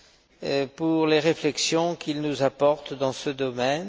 et pour les réflexions qu'il nous apporte dans ce domaine.